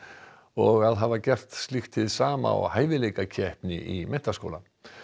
og að hafa gert slíkt hið sama á í menntaskóla